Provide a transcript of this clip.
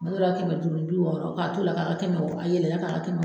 Tuma dɔ la kɛmɛ duuru ni bi wɔɔrɔ, k'a to la ka kɛ kɛmɛ wɔɔrɔ, a yɛlɛla ka kɛ kɛmɛ